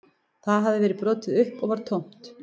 Það hafði verið brotið upp og var tómt